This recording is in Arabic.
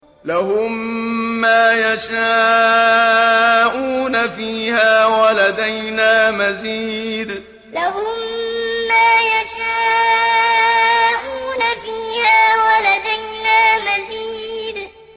لَهُم مَّا يَشَاءُونَ فِيهَا وَلَدَيْنَا مَزِيدٌ لَهُم مَّا يَشَاءُونَ فِيهَا وَلَدَيْنَا مَزِيدٌ